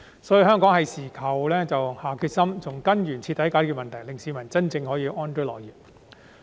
因此，這是我們該下決心的時候，從根源徹底解決問題，令市民真正可以安居樂業。